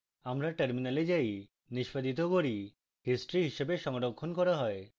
আমরা terminal যাই নিষ্পাদিত করি history হিসাবে সংরক্ষণ করা হয়